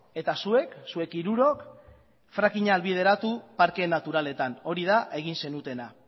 eta zuek zuek hirurok frakinga ahalbideratu parke naturaletan hori da egin zenutena